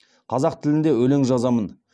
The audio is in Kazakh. қазақ тілінде өлең жазамын